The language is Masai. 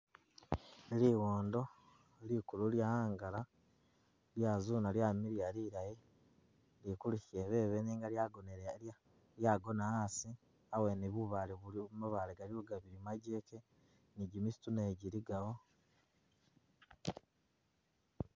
Liwondo likulu lyahangala lyazuna lyamiliya lilayi lili kumushebebe nenga lyagona hasi hawene bubaale mabaasle galiwo gabili magyekye ni gimisitu naye giligawo.